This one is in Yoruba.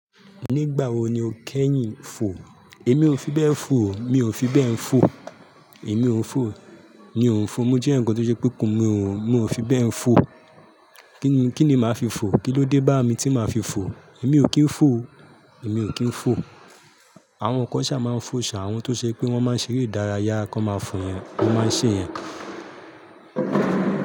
Nígbà wo ni o kẹ́yìn fò? Èmi ò fi bẹ́ẹ̀ fò o. Mi ò fi bẹ́ẹ̀ fò. Èmi ò ń fò. Mi ò ń fò. Mo jẹ eni kan tó ṣe pé, mi ò, mi ò fi bẹ́ẹ̀ fò. Kí ni, kí ni màá fi fò? Kí ló dé bá mi tí màá fi fò? Èmi ò kí ń fò o. Èmi ò kí ń fò. Àwọn kan ṣá máa ń fò ṣá. Àwọn tó ṣe pé wọ́n máa ń ṣeré ìdárayá, wọn máa fò yẹn. Wọ́n máa ń ṣe yẹn.